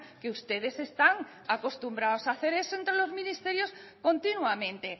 que ustedes están acostumbrados a hacer eso entre los ministerios continuamente